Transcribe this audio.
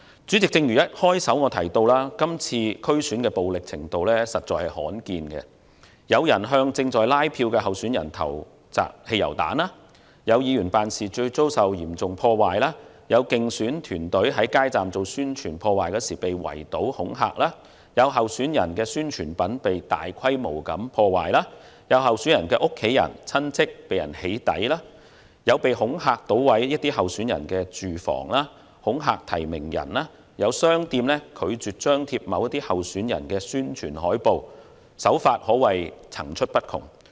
主席，正如我一開始提到，今次區選前的暴力程度罕見，有人向正在拉票的候選人投擲汽油彈、有議員辦事處遭受嚴重破壞、有競選團隊在街站做選舉宣傳時被圍堵恐嚇、有候選人宣傳品被大規模破壞、有候選人的家人及親戚被"起底"、恐嚇搗毀某些候選人的住房、恐嚇提名人、有商店拒絕張貼某些候選人的宣傳海報，手法可說是層出不窮。